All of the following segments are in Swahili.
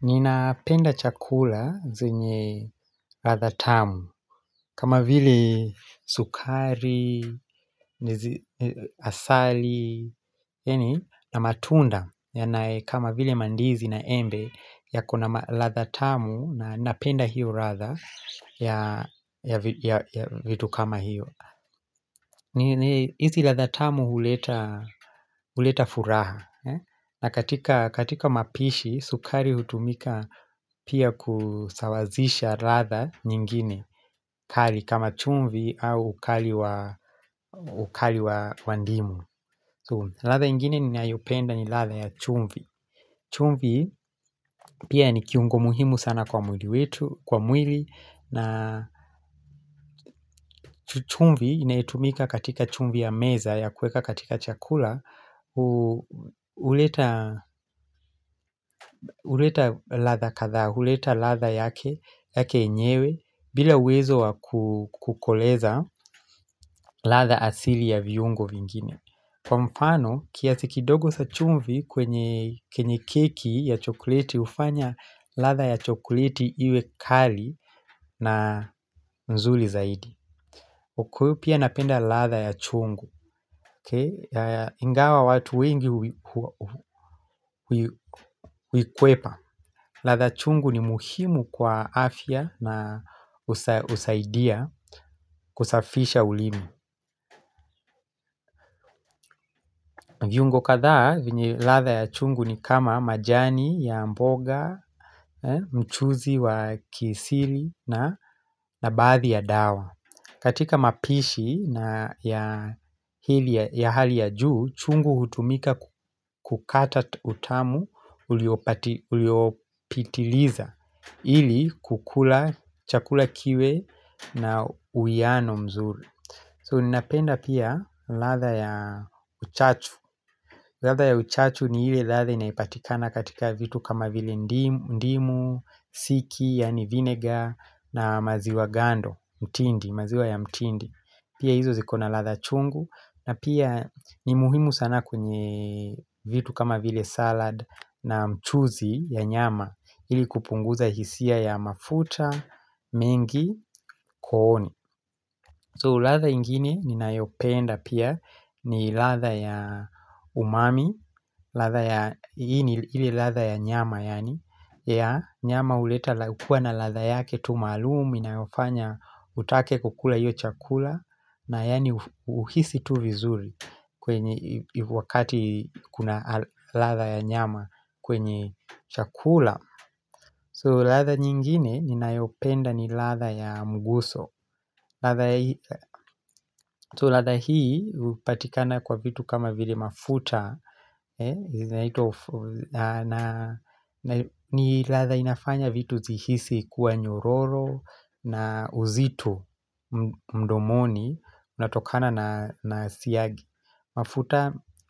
Ninapenda chakula zenye ladha tamu kama vile sukari, asali, yani na matunda yanae kama vile mandizi na embe yakona ladha tamu na napenda hiyo ladha ya vitu kama hiyo. Hizi ladha tamu huleta huleta furaha na katika, katika mapishi, sukari hutumika pia kusawazisha ladha nyingine kali kama chumvi au ukali wa wa ndimu. Ladha ingine ninayopenda ni ladha ya chumvi chumvi pia ni kiungo muhimu sana kwa mwili wetu, kwa mwili. Na chumvi inaitumika katika chumvi ya meza ya kuweka katika chakula huleta ladha kadhaa huleta ladha yake yenyewe bila uwezo wa kukoleza ladha asili ya viungo vingine Kwa mfano, kiasi kidogo cha chumvi kwenye keki ya chokoleti hufanya ladha ya chokoleti iwe kali na nzuri zaidi huku pia napenda ladha ya chungu Ingawa watu wengi uikwepa. Ladha chungu ni muhimu kwa afya na husaidia kusafisha ulimi. Viungo kadhaa vyenye ladha chungu ni kama majani ya mboga, mchuzi wa kisiri na na baadhi ya dawa. Katika mapishi na ya hali ya juu, chungu hutumika kukata utamu uliopitiliza, ili kukula chakula kiwe na uwiano mzuri. So ninapenda pia ladha ya uchachu ladha ya uchachu ni ile ladha inayopatikana katika vitu kama vile ndimu, siki, yaani vinegar na maziwa gando, mtindi, maziwa ya mtindi. Pia hizo zikona ladha chungu na pia ni muhimu sana kwenye vitu kama vile salad na mchuzi ya nyama ili kupunguza hisia ya mafuta, mengi, kooni. So ladha ingine ninayopenda pia ni ladha ya umami, ile ladha ya nyama yaani, ya nyama huleta hukuwa na ladha yake tu maalum inayofanya utake kukula hiyo chakula na yani uhisi tu vizuri kwenye wakati kuna ladha ya nyama kwenye chakula. So ladha nyingine ninayopenda ni ladha ya mguso So ladha hii upatikana kwa vitu kama vile mafuta ni ladha inafanya vitu zihisi kuwa nyororo na uzito mdomoni. Inatokana na siagi.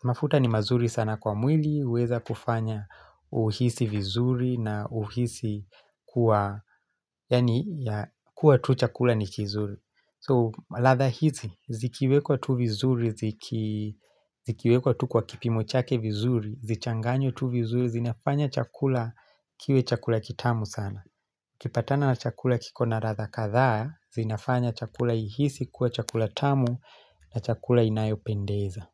Mafuta ni mazuri sana kwa mwili huweza kufanya uhisi vizuri na uhisi kuwa tu chakula ni kizuri So ladha hizi, zikiwekwa tu vizuri, zikiwekwa tu kwa kipimo chake vizuri Zichanganywe tu vizuri, zinafanya chakula kiwe chakula kitamu sana Ukipatana na chakula kiko na ladha kadhaa zinafanya chakula ihisi kuwa chakula tamu na chakula inayopendeza.